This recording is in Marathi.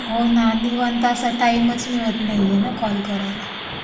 होणं निवांत असा टीमचा नाही मिळत आहे असा कॉल करायला.